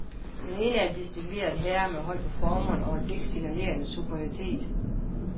Den ene er en distingveret herre med hold på formerne og et blik signalerende superioritet.